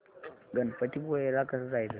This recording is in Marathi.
गणपतीपुळे ला कसं जायचं